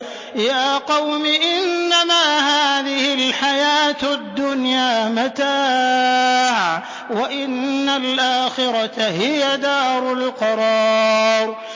يَا قَوْمِ إِنَّمَا هَٰذِهِ الْحَيَاةُ الدُّنْيَا مَتَاعٌ وَإِنَّ الْآخِرَةَ هِيَ دَارُ الْقَرَارِ